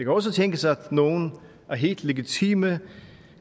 også tænkes at nogle af helt legitime